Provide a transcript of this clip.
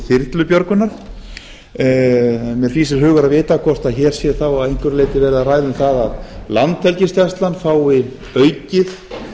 þyrlubjörgunar mig fýsir að vita hvort hér sé þá að einhverju leyti verið að ræða um það að landhelgisgæslan fái aukið